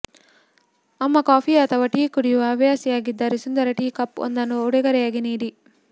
ಅಮ್ಮ ಕಾಫಿ ಅಥವಾ ಟೀ ಕುಡಿಯುವ ಹವ್ಯಾಸಿಯಾಗಿದ್ದರೆ ಸುಂದರ ಟೀ ಕಪ್ ಒಂದನ್ನು ಉಡುಗೊರೆಯಾಗಿ ನೀಡಿ